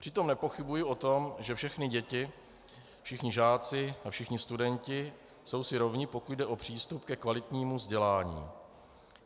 Přitom nepochybuji o tom, že všechny děti, všichni žáci a všichni studenti jsou si rovni, pokud jde o přístup ke kvalitnímu vzdělání.